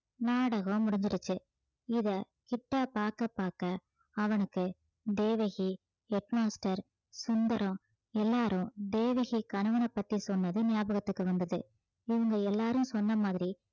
நாடகம் முடிஞ்சிருச்சு இதை கிட்டா பார்க்க பார்க்க அவனுக்கு தேவகி head master சுந்தரம் எல்லாரும் தேவகி கணவனைப் பத்தி சொன்னது ஞாபகத்துக்கு வந்தது இவங்க எல்லாரும் சொன்ன மாதிரி